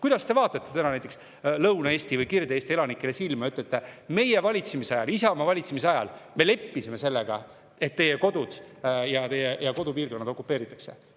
Kuidas te vaatate täna näiteks Lõuna-Eesti või Kirde-Eesti elanikele silma ja ütlete, et teie oma valitsemisajal, Isamaa valitsemisajal leppisite sellega, et nende inimeste kodud ja kodupiirkonnad okupeeritakse?